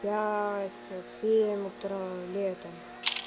пять в семь утра летом